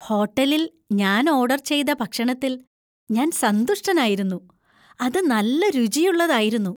ഹോട്ടലിൽ ഞാൻ ഓർഡർ ചെയ്ത ഭക്ഷണത്തിൽ ഞാൻ സന്തുഷ്ടനായിരുന്നു. അത് നല്ല രുചിയുള്ളതായിരുന്നു.